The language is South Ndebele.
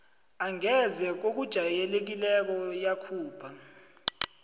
angeze ngokujayelekileko yakhupha